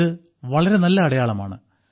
ഇത് വളരെ നല്ല അടയാളമാണ്